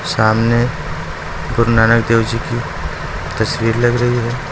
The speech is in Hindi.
सामने गुरु नानक देव जी की तस्वीर लग रही है।